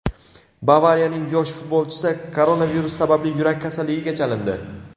"Bavariya"ning yosh futbolchisi koronavirus sababli yurak kasalligiga chalindi.